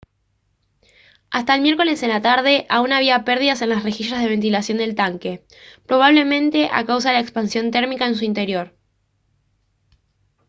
hasta el miércoles en la tarde aún había pérdidas en las rejillas de ventilación del tanque probablemente a causa de la expansión térmica en su interior